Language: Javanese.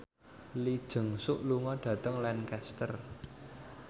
Lee Jeong Suk lunga dhateng Lancaster